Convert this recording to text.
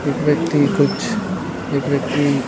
एक व्यक्ति कुछ एक व्यक्ति--